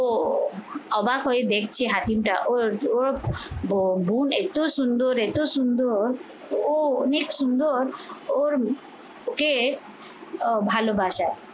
ও অবাক হয়ে দেখছে হাতিমটা ও, ও বোন এত সুন্দর, এতো সুন্দর ও অনেক সুন্দর ওর ওকে আহ ভালোবাসা